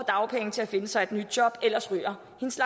dagpenge til at finde sig et nyt job ellers ryger hendes